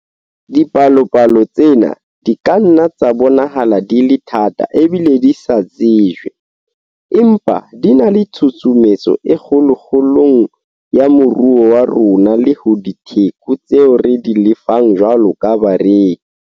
Dipalopalo tsena di ka nna tsa bonahala di le thata ebile di sa tsejwe, empa di na le tshusumetso e kgolo kgolong ya moruo wa rona le ho ditheko tseo re di lefang jwalo ka bareki.